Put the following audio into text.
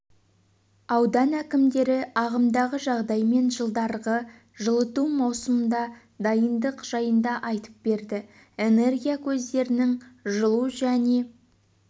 аудан әкімдері ағымдағы жағдай мен жылдарғы жылыту маусымына дайындық жайында айтып берді энергия көздерінің жылу және